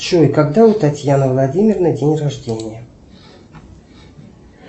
джой когда у татьяны владимировны день рождения